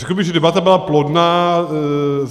Řekl bych, že debata byla plodná.